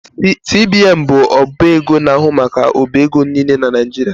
CBN bụ ọba ego na-ahụ maka ọbaego nile na Nijirịa